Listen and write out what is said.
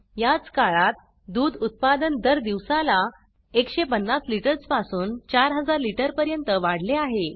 याच काळात दूध उत्पादन दर दिवसाला 150 लिटर्स पासून 4000 लिटर पर्यंत वाढले आहे